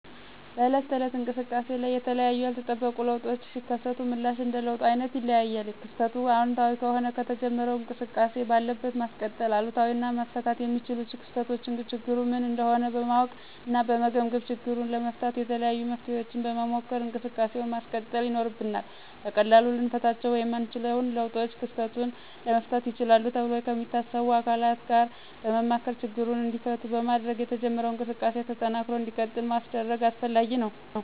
በዕለት ተዕለት እንቅሰቃሴ ላይ የተለያዩ ያልተጠበቁ ለውጦች ሲከሰቱ ምላሽ እንደ ለውጡ አይነት ይለያያል። ክስተቱ አወንታዊ ከሆነ የተጀመረውን እንቅስቃሴ ባለበት ማስቀጠል፤ አሉታዊ እና መፈታት የሚችሉ ክስተቶችን ችግሩ ምን እንደሆነ በማወቅ እና በመገምገም ችግሩን ለመፍታት የተለያዩ መፍትሔዎችን በመሞከር እንቅሰቃሴውን ማስቀጠል ይኖርብናል። በቀላሉ ልንፈታቸው የማንችለውን ለውጦች ክስተቱን ለመፍታት ይችላሉ ተብሎ ከሚታሰቡ አካላት ጋር በማማከር ችግሮቹ እንዲፈቱ በማድረግ የተጀመረው እንቅስቃሴ ተጠናክሮ እንዲቀጥል ማስደረግ አስፈላጊ ነው።